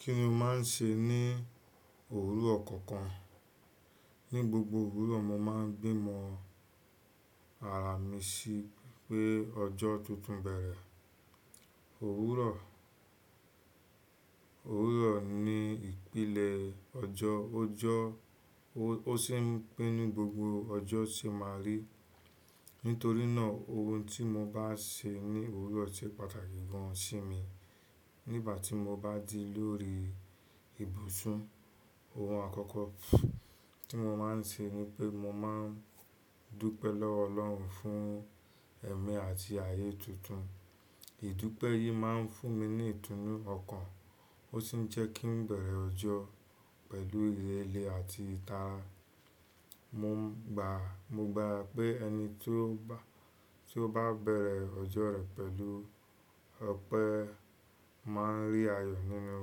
Kí ni o máa ń ṣe ní òwúrọ̀ kọ̀ọ̀kan? Ni gbogbo òwúrọ̀ mo máa ń gbimọ ara mi sí pé ọjọ́ tuntun bẹ̀rẹ̀. Òwúrọ̀, òwúrọ̀ ni ìpìlẹ̀ ọjọ́, ó jọ́, ó sì ń pé ní gbogbo ọjọ́ ṣe máa rí. Nítorí náà ohùn tí mo bá ṣe ní òwúrọ̀ ṣe pàtàkì gan sí mi. Nígbà tí mo bá ji lórí ibùsùn, ohun àkọ́kọ́ tí mo máa ń ṣe ni pé mo máa ń dúpẹ́ lọ́wọ́ Ọlọ́run fún ẹ̀mí àti ayé tuntun. Ìdúpẹ́ yìí máa ń fún mi ní ìtùnú ọkàn, ó sì ń jẹ́ kí n bẹ̀rẹ̀ ọjọ́ pẹ̀lú ìrẹ̀lẹ̀ àti ìtara. Mọ gba, mo gbà pé ẹni tí ó bá, tí ó bá bẹ̀rẹ̀ ọjọ́ rẹ̀ pẹ̀lú ọ̀pẹ máa ń rí ayọ̀ nínú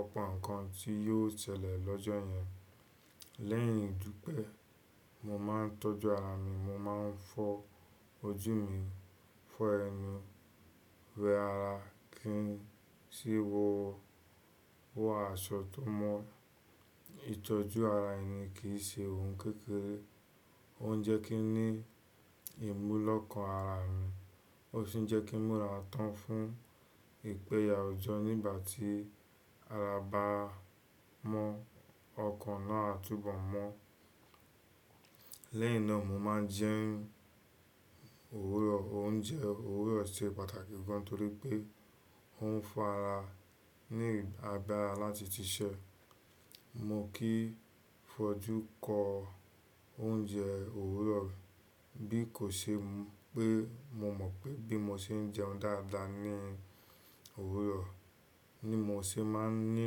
ọ̀pọ̀ nǹkan tí yóò ṣẹlẹ̀ lọ́jọ́ yẹn. Lẹ́yìn ìdúpẹ́, mo máa ń tọ́jú ara mi, mo máa ń fọ ojú mi, fọ ẹnu, wẹ ara kí n sì wọ, wọ aṣọ tó mọ́. Ìtọ́jú ara ẹni kìí ṣe ohùn kékeré, ó ń jẹ́ kí n ní ìmúlọ́kàn ara mi, ó ṣì ń jẹ́ kí mura tán fún ìpẹ̀yà ọjọ́ nígbà tí ara bá mọ́ ọkàn náà túbọ̀ mọ́. Lẹ́yìn náà mo máa jẹ òwúrọ̀, oúnjẹ òwúrọ̀ ṣe pàtàkì gan torí pé ó ń fún ara ní agbára láti ṣiṣẹ́. Mo kìí fojú kọ oúnjẹ òwúrọ̀ bí kò ṣe pé mo mọ̀ pé bí mo ṣe ń jẹun dáadáa ní òwúrọ̀ ni mo ṣe máa ń ní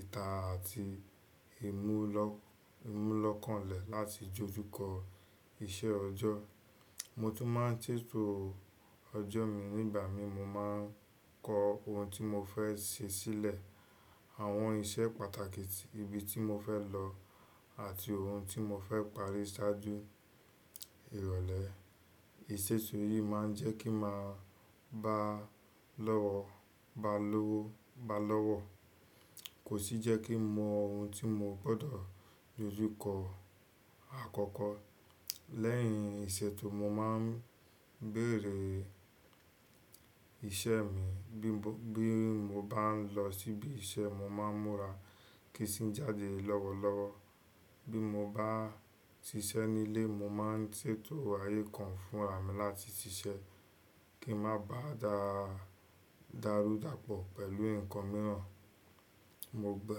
ìtara àti ìmúlọ́, ìmúlọ́kànlẹ̀ láti jójú kọ iṣẹ́ ọjọ́. Mo tún máa ń ṣètò ọjọ́ mi nígbà mi mo máa ń kọ ohùn tí mo fẹ́ ṣe sílẹ̀, àwọn iṣẹ́ pàtàkì, ibi tí mo fẹ́ lọ àti ohùn tí mo fẹ́ parí ṣáájú ìrọ̀lẹ́. Tètò yìí máa ń jẹ́ kí n máa bá lọ́wọ́, bá lówó, bá lọ́wọ́, kò sì jẹ́ kí n mọ ohùn tí mo gbọdọ̀ dójú kọ àkọ́kọ́. Lẹ́yìn ìṣètò mo máa ń béèrè ìṣe mi. Bí mo bá ń lọ síbi iṣẹ́ mo máa ń múra kí sì jáde lọ́wọ́lọ́wọ́. Bí mo bá ń ṣiṣẹ́ nílé mo máa ń ṣètò ayé kan fún ara mi láti ṣiṣẹ́ kí ń má ba dáa, darudàpọ̀ pẹ̀lú nǹkan mìíràn. Mo gba,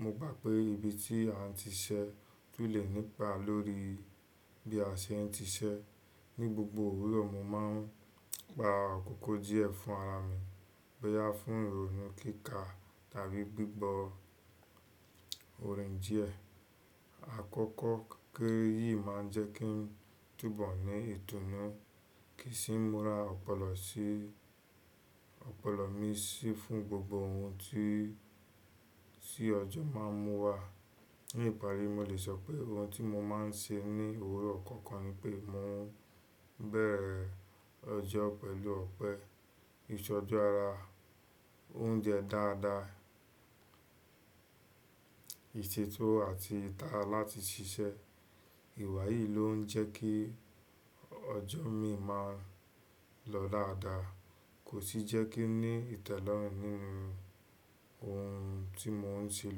mo gbà pé ibi tí a ti ṣẹ́ túlẹ̀ nípa lórí bí a ṣe ń ṣiṣẹ́. Ni gbogbo òwúrọ̀ mo máa ń gba àkókò díẹ̀ fún ara mi bóyá fún ìrònú kíkà tàbí gbígbọ orin díẹ̀. Àkókò kéké yìí máa ń jẹ́ kí n túbọ̀ ní ìdnùnú kì í sì ń múra ọpọlọ sí, ọpọlọ mi sí fún gbogbo ohun tí, tí ọjọ́ máa ń mú wá. Ni ìparí, mo lè sọ pé ohun tí mo máa ń ṣe ní òwúrọ̀ kọ̀ọ̀kan ni pé mo ń bẹ̀rẹ̀ ọjọ́ pẹ̀lú ọ̀pẹ, ìtọ́jú ara, oúnjẹ dáadáa, ìṣètò àti ìtara láti ṣiṣẹ́. Ìwà yìí ló ń jẹ́ kí ọjọ́ mi máa ń lọ láádàá kò sì jẹ́ kí n ní ìtẹ́lọ́rùn nínú ohun tí mo ń ṣe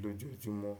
lójoojúmọ́.